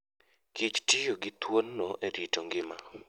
Kich tiyo gi thuondno e rito ngima.